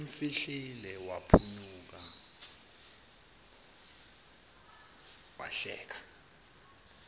umfihlile waphunyuka wahleka